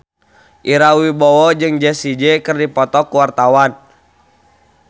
Ira Wibowo jeung Jessie J keur dipoto ku wartawan